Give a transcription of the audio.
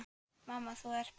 Mamma, þú ert best.